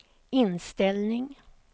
inställning